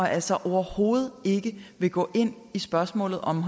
altså overhovedet ikke vil gå ind i spørgsmålet om